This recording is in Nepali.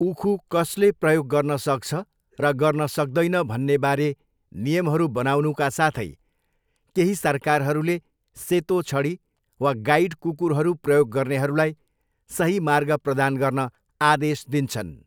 उखु कसले प्रयोग गर्न सक्छ र गर्न सक्दैन भन्ने बारे नियमहरू बनाउनुका साथै, केही सरकारहरूले सेतो छडी वा गाइड कुकुरहरू प्रयोग गर्नेहरूलाई सही मार्ग प्रदान गर्न आदेश दिन्छन्।